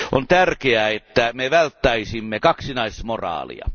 On tärkeää, että me välttäisimme kaksinaismoraalia.